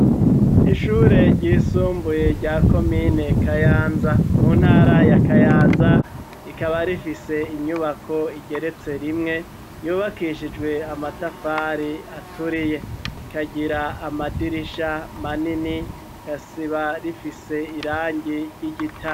Ishure ryisumbuye rya komine kayanza mu ntara ya kayanza, rikaba rifise inyubako igeretse rimwe yubakishijwe amatafari aturiye, rikagira amadirisha manini kasiba rifise irangi ry'igita.